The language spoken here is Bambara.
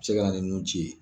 Se ka na ni nun ci ye